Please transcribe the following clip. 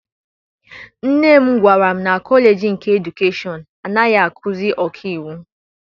Nne m gwara m na kọleji nke edukeshọn anaghị akuzi ọkaiwu.